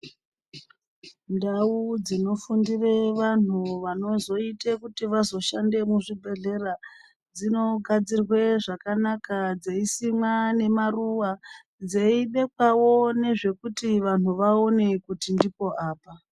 Ndau dzino fundire vanhu vanozoite kuti vazo shande mu zvibhedhlera dzino gadzirwe zvakanaka dzei simwa ne maruva dzei bekwawo nezvekuti vanhu vaone kuti ndipo apa.